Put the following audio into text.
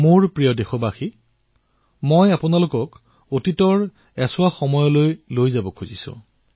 মোৰ মৰমৰ দেশবাসীসকল মই আপোনালোকক অতীতৰ এটা অংশলৈ লৈ যাব গুচিছো